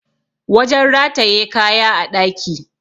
wajen rataye kaya a ɗaki